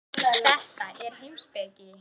Þetta er heimspeki.